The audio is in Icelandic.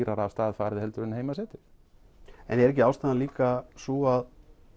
dýrara af stað farið en heima setið en er ekki ástæðan líka sú að